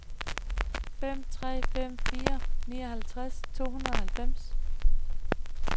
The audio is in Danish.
fem tre fem fire nioghalvtreds to hundrede og halvfems